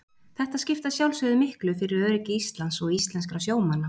Þetta skipti að sjálfsögðu miklu fyrir öryggi Íslands og íslenskra sjómanna.